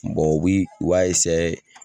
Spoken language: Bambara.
u bi u b'a